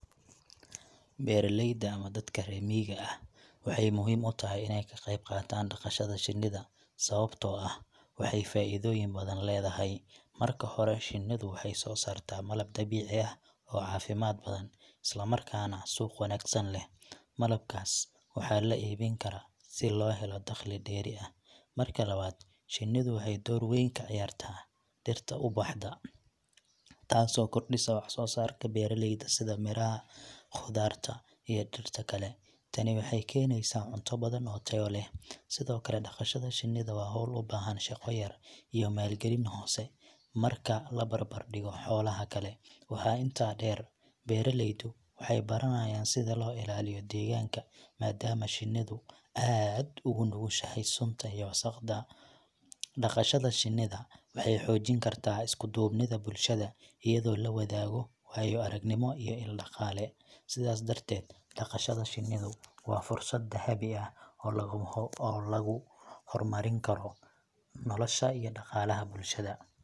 Beeraleyda ama dadka reer miyiga ah waxay muhiim u tahay inay ka qayb qaataan dhaqashada shinnida, sababtoo ah waxay faa'iidooyin badan leedahay. Marka hore, shinnidu waxay soo saartaa malab dabiici ah oo caafimaad badan, isla markaana suuq wanaagsan leh. Malabkaas waxaa la iibin karaa si loo helo dakhli dheeri ah. Marka labaad, shinnidu waxay door weyn ka ciyaartaa dhirta ubaxda, taas oo kordhisa wax soo saarka beeralayda sida miraha, khudaarta, iyo dhirta kale. Tani waxay keenaysaa cunto badan oo tayo leh. Sidoo kale, dhaqashada shinnida waa hawl u baahan shaqo yar iyo maalgelin hoose marka la barbar dhigo xoolaha kale. Waxaa intaa dheer, beeraleydu waxay baranayaan sida loo ilaaliyo deegaanka, maadaama shinnidu aad ugu nugushahay sunta iyo wasaqda. Dhaqashada shinnida waxay xoojin kartaa isku duubnida bulshada, iyadoo la wadaago waayo-aragnimo iyo il dhaqaale. Sidaas darteed, dhaqashada shinnidu waa fursad dahabi ah oo lagu horumarin karo nolosha iyo dhaqaalaha bulshada.